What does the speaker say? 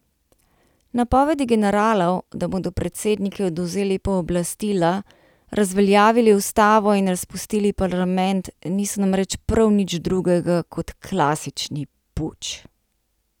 Napovedi generalov, da bodo predsedniku odvzeli pooblastila, razveljavili ustavo in razpustili parlament, niso namreč prav nič drugega kot klasični puč.